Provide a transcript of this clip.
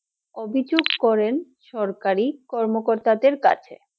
অভিযোগ করেন সরকারি কর্মকর্তাদের কাছে